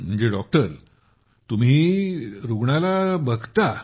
म्हणजे तुम्ही देखील रुग्णाला बघता